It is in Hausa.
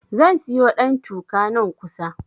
Zan siyo ɗantuka, nan kusa.